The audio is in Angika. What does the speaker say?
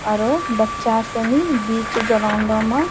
आरो बच्चा सनी बीच ग्राउंडो म --